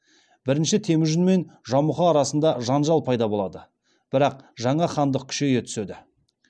бірінші темүжін мен жамұха арасында жанжал пайда болады бірақ жаңа хандық күшейе түседі